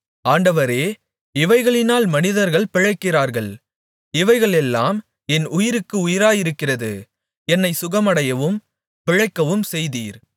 ஆண்டவரே இவைகளினால் மனிதர்கள் பிழைக்கிறார்கள் இவைகளெல்லாம் என் உயிர்க்கு உயிராயிருக்கிறது என்னை சுகமடையவும் பிழைக்கவும்செய்தீர்